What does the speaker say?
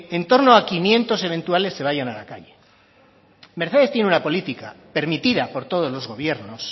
en torno a quinientos habituales se vayan a la calle mercedes tiene una política permitida por todos los gobiernos